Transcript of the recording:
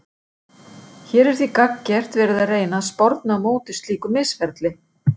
Hér er því gagngert verið að reyna að sporna á móti slíku misferli.